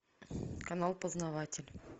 канал познаватель